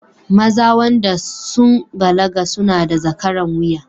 Maza wanda sun balaga suna da zakaran wuya